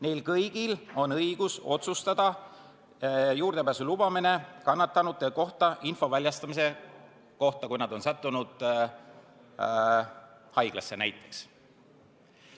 Neil kõigil on õigus otsustada juurdepääsu lubamise üle kannatanute kohta info väljastamise kohta, kui need on sattunud haiglasse, näiteks.